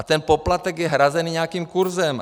A ten poplatek je hrazený nějakým kurzem.